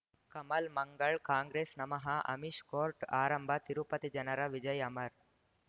ಕಮಲ್ ಮಂಗಳ್ ಕಾಂಗ್ರೆಸ್ ನಮಃ ಅಮಿಷ್ ಕೋರ್ಟ್ ಆರಂಭ ತಿರುಪತಿ ಜನರ ವಿಜಯ ಅಮರ್